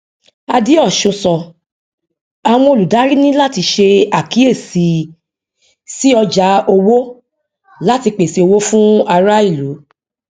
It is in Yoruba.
adeosun sọ àwọn olùdarí ní láti ṣe àkíyèsí sí ọjà owó láti pèsè owó fún ará ìlú